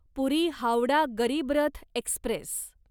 पुरी Howrah Garib Rath Express